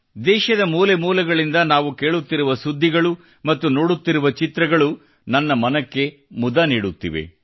ದೇಶದ ಮೂಲೆ ಮೂಲೆಗಳಿಂದ ನಾವು ಕೇಳುತ್ತಿರುವ ಸುದ್ದಿಗಳು ಮತ್ತು ನೋಡುತ್ತಿರುವ ಚಿತ್ರಗಳು ನನ್ನ ಮನಕ್ಕೆ ಮುದ ನೀಡುತ್ತಿವೆ